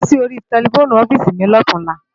Pèmi sóri tèlèfóni òfisi mi lòtúnlá